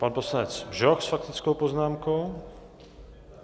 Pan poslanec Bžoch s faktickou poznámkou.